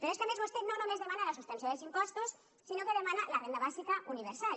però és que a més vostè no només demana la suspensió dels impostos sinó que demana la renda bàsica universal